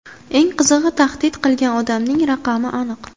Eng qizig‘i, tahdid qilgan odamning raqami aniq.